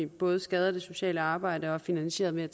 både skader det sociale arbejde og er finansieret ved at